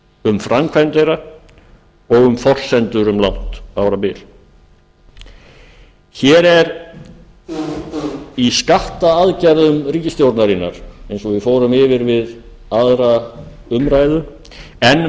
um framkvæmd þeirra og um forsendur um langt árabil hér er í skattaaðgerðum ríkisstjórnarinnar eins og við fórum yfir við aðra umræðu enn